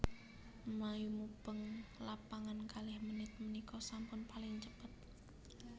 Mlayu mubeng lapangan kalih menit menika sampun paling cepet